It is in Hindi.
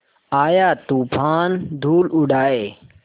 आया तूफ़ान धूल उड़ाए